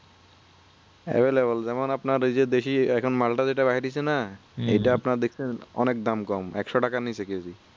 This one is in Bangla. যেমন আপনার এই যে দেশি এখন মালটা যেটা আপনার বাহির হয়েছে না ইটা আপনার দেখতে দাম অনেক কম একশো টাকার নিচে কেজি